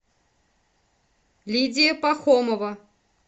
лидия пахомова